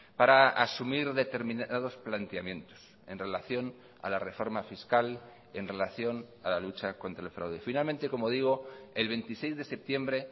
para asumir determinados planteamientos en relación a la reforma fiscal en relación a la lucha contra el fraude finalmente como digo el veintiséis de septiembre